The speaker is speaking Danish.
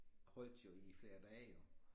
Holdte jo i flere dage jo